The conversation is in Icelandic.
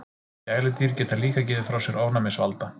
Gæludýr geta líka gefið frá sér ofnæmisvalda.